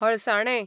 हळसाणे